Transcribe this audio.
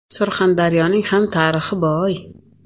Surxondaryoning ham tarixi boy.